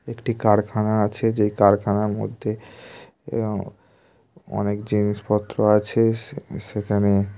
একটি কারখানা আছে যে কারখানার মধ্যে অনেক জিনিসপত্র আছে সে-সেখানে।